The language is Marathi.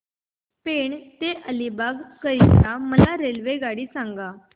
पेण ते अलिबाग करीता मला रेल्वेगाडी सांगा